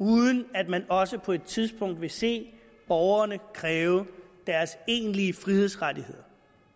uden at man også på et tidspunkt vil se borgerne kræve deres egentlige frihedsrettigheder